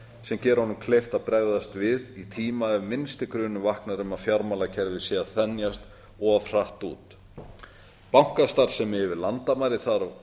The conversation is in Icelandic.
sem gera honum kleift að bregðast við í tíma ef minnsti grunur vaknar um að fjármálakerfið sé að þenjast of hratt út bankastarfsemi yfir landamæri